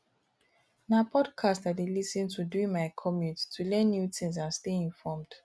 na podcasts i dey lis ten to during my commute to learn new things and stay informed